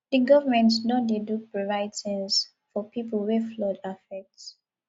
di government don dey do provide tins for pipo wey flood affect